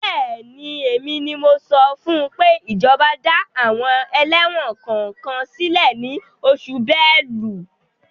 Bẹ́ẹ̀ni, èmi ni mo sọ fún pé ìjọba dá àwọn ẹlẹ́wọ̀n kọ̀ọ̀kan sílẹ̀ ní oṣù Bélú.